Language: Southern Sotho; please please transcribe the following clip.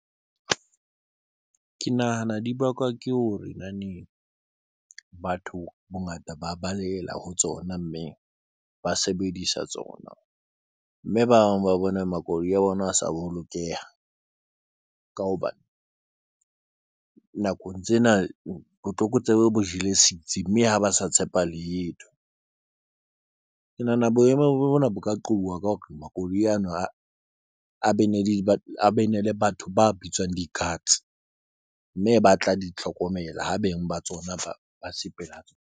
Ke nahana di bakwa ke ho batho bongata ba balehela ho tsona, mme ba sebedisa tsona mme ba bang ba bone makoloi a bona a sa bolokeha ka hobane nakong tsena botlokotsebe bo jele sitsi mme ha ba sa tshepa letho ke nahana boemo bona bo ka qobuwa ka hore makoloi ana a a bene le bene le batho ba bitswang di-cards mme ba tla di tlhokomela ho beng ba tsona ba .